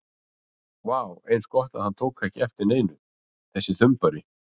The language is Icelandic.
Vá, eins gott að hann tók ekki eftir neinu, þessi þumbari!